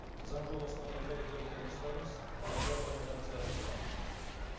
заң жобасына қолдау білдірулеріңізді сұраймыз назар аударғандарыңызға рахмет